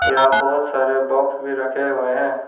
यहां बहुत सारे बॉक्स भी रखे हुए हैं।